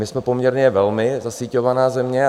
My jsme poměrně velmi zasíťovaná země.